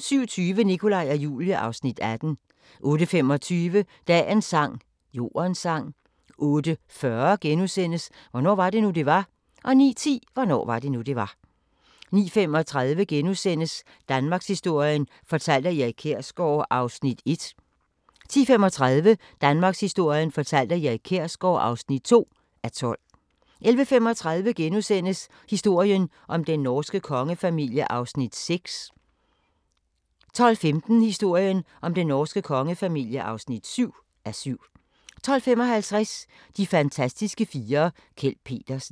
07:20: Nikolaj og Julie (Afs. 18) 08:25: Dagens sang: Jordens sang 08:40: Hvornår var det nu, det var? * 09:10: Hvornår var det nu, det var? 09:35: Danmarkshistorien fortalt af Erik Kjersgaard (1:12)* 10:35: Danmarkshistorien fortalt af Erik Kjersgaard (2:12) 11:35: Historien om den norske kongefamilie (6:7)* 12:15: Historien om den norske kongefamilie (7:7) 12:55: De fantastiske fire: Kjeld Petersen